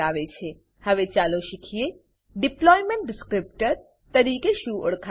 હવે ચાલો શીખીએ કે ડિપ્લોયમેન્ટ ડિસ્ક્રિપ્ટર ડીપ્લોયમેંટ ડીસક્રીપ્ટર તરીકે શું ઓળખાય છે